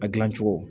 A gilan cogo